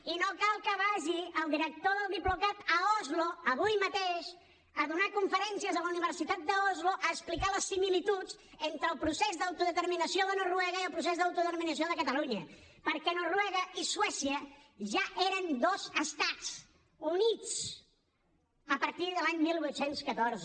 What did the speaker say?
i no cal que vagi el director del diplocat a oslo avui mateix a donar conferències a la universitat d’oslo a explicar les similituds entre el procés d’autodeterminació de noruega i el procés d’autodeterminació de catalunya perquè noruega i suècia ja eren dos estats units a partir de l’any divuit deu quatre